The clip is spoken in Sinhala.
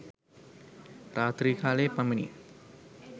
රාත්‍රී කාලයේ පමණි.